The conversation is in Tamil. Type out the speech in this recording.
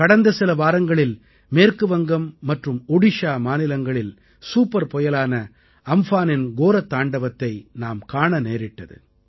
கடந்த சில வாரங்களில் மேற்கு வங்கம் மற்றும் ஒடிஷா மாநிலங்களில் சூப்பர் புயலான அம்ஃபானின் கோரத்தாண்டவத்தை நாம் காண நேரிட்டது